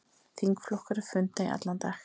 Þingflokkar funda í allan dag